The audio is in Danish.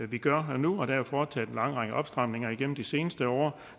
vi gør nu og der er foretaget en lang række opstramninger igennem de seneste år